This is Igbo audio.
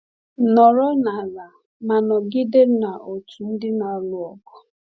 Nọrọ n’ala, ma nọgide n’otu ndị na-alụ ọgụ.